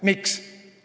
Miks?